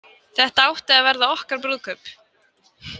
Þetta átti að verða okkar brúðkaup.